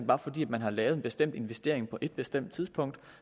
bare fordi man har lavet en bestemt investering på et bestemt tidspunkt